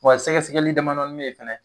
Wa sɛgɛsɛgɛli damadɔnin be yen fɛnɛ